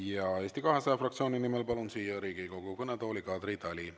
Palun Eesti 200 fraktsiooni nimel siia Riigikogu kõnetooli Kadri Tali.